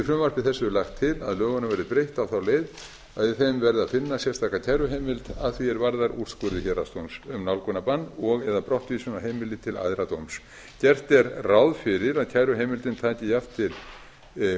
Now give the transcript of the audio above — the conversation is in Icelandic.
frumvarpi þessu lagt til að lögunum verði breytt á þá leið að í þeim verði að finna sérstaka kæruheimild að því er varðar úrskurði héraðsdóms um nálgunarbann og eða brottvísun af heimili til æðra dóms gert er ráð fyrir að kæruheimildin taki jafnt til úrskurða